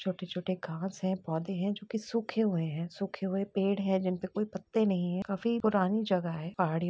छोटे-छोटे घाँस हैं पौधे हैं जो कि सूखे हुए हैं। सूखे हुए पेड़ हैं जिन पे कोई पत्ते नहीं है। काफी पुरानी जगह है। पहाड़ी --